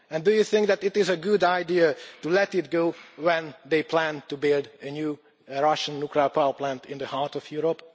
And do you think that it is a good idea to let it go when they plan to build a new Russian nuclear power plant in the heart of Europe?